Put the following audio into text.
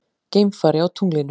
Geimfari á tunglinu.